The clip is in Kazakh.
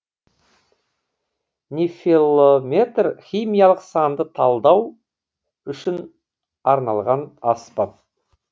нефелометр химиялық сандық талдау үшін арналған аспап